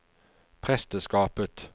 presteskapet